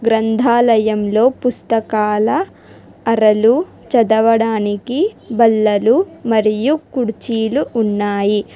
గ్రంధాలయంలో పుస్తకాల అరలు చదవడానికి బల్లలు మరియు కుడ్చిలు ఉన్నాయి.